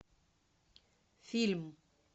фильм